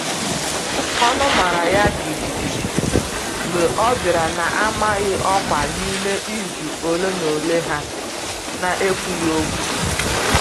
Ọnụ mara ya jijiji mgbe ọ bịara na-amaghị ọkwa n’ime izu ole na ole ha n'ekwughi okwu.